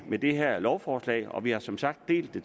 med det her lovforslag og vi har som sagt delt det